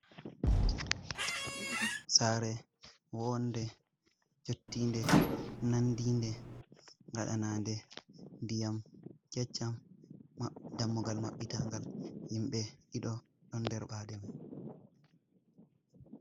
Sare wonde, jottinde, nandinde, gaɗanande, ndiyam keccam, dammugal maɓɓitangal, himɓe ɗiɗo don derbade ma